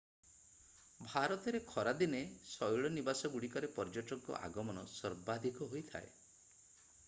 ଭାରତରେ ଖରାଦିନେ ଶୈଳନିବାସଗୁଡ଼ିକରେ ପର୍ଯ୍ୟଟକଙ୍କ ଆଗମନ ସର୍ବାଧିକ ହୋଇଥାଏ